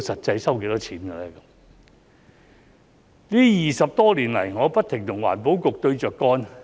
這20多年來，我不停與環保局對着幹。